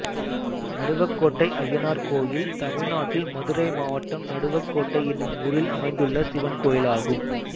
நடுவக்கோட்டை அய்யனார் கோயில் தமிழ்நாட்டில் மதுரை மாவட்டம் நடுவக்கோட்டை என்னும் ஊரில் அமைந்துள்ள சிவன் கோயிலாகும்